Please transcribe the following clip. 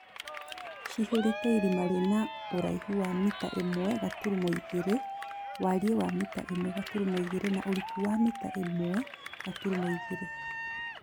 cihũrĩte irima rĩna iraihu wa mita ĩmwe gaturumo igĩrĩ, wariĩ wa mita ĩmwe gaturumo igĩrĩ na ũriku wa mita ĩmwe gaturumo igĩrĩ